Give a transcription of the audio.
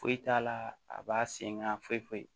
Foyi t'a la a b'a sen ŋa foyi foyi